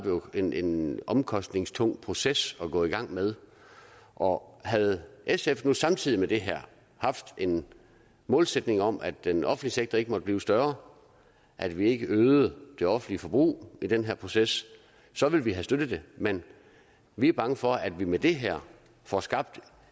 en en omkostningstung proces at gå i gang med og og havde sf nu samtidig med det her haft en målsætning om at den offentlige sektor ikke måtte blive større at vi ikke øgede det offentlige forbrug i den her proces så ville vi have støttet det men vi er bange for at vi med det her får skabt